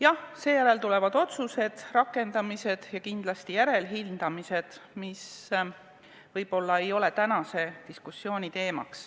Ja seejärel tulevad otsused, rakendamised ja kindlasti järelhindamised, mis võib-olla ei ole tänase diskussiooni teema.